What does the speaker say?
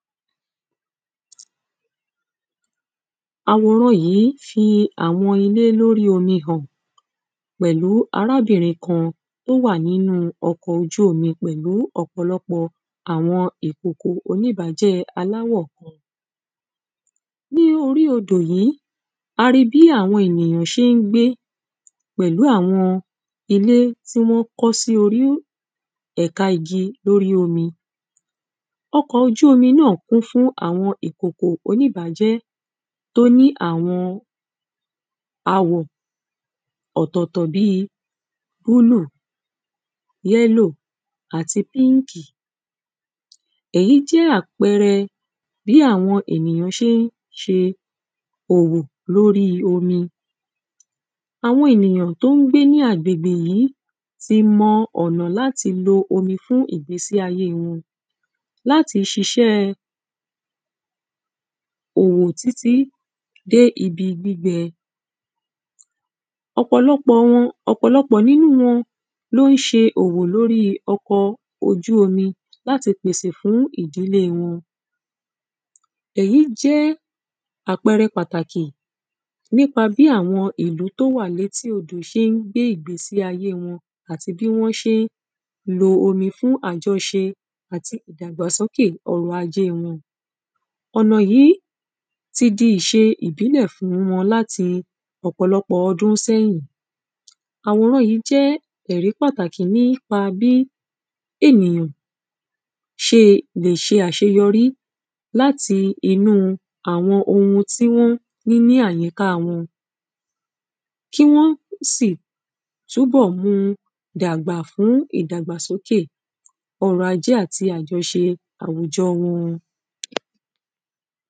àwòran yìí fi àwọn ilé lórí omi hàn, pẹ̀lú arábìrin kan, tó wà nínu ọkọ̀ ojú omi pẹ̀lú ọ̀pọ̀lọpọ̀ọ àwọn ìkoko oníbájẹ́ alàwọ̀ kan. ní orí odò yí, a ri bí àwọn ènìyán ṣé ńgbé pẹ̀lú àwọn ilé tí wọ́n kọ́ sí orí ẹ̀ka igi lórí omi. ọkọ̀ ojú omi náà kún fún àwọn ìkòkò oníbájẹ́ tó ní àwọn àwọ̀ ọ̀tọ̀tọ̀ bíi; búlù, yẹ́lò, àti, píkì. èyí jẹ́ àpẹrẹ bí àwọn ènìyán ṣeé ṣe òwò lóríi omi. àwọn ènìyàn tó ń gbé ní agbègbè yí ti mọ ọ̀nà láti lo omi fún ìgbésíayée wọn, láti ṣiṣẹ́ẹ òwò títí dé ibi gbígbẹ. ọ̀pọ̀lọpọ̀ wọn, ọ̀pọ̀lọpọ̀ nínúu wọn ló ń ṣe òwò lóríi ọkọ̀ọ ojú omi láti pèsè fún ìdìlée wọn. èyí jẹ́ àpẹrẹ pàtàkì nípa bí àwọn ìlú tó wà létí odò ṣé ńgbé ìgbésí ayée wọn, àti bí wọ́n ṣéé lo omi fún àjọṣe àti ìdàgbà sóké ọrọ̀ ajée wọn. ọ̀nà yìí ti di ìṣe ìbílẹ̀ fún wọn láti ọ̀pọ̀lọpọ̀ ọdún sẹ́yìn. àwòran yìí jẹ́ ẹ̀rí pàtàkì nípa bí, ènìyàn ṣe lè ṣe àṣeyọrí láti ìnúu àwọn ohun tí wọ́n ní ní àyíkáa wọn, kí wọ́n sì túnbọ̀ mu dàgbà fún ìdàgbàsóké ọrọ̀ ajé àti àjọṣe àwùjọ wọn.